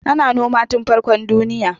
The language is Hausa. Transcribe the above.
Ana noma tun farkon duniya.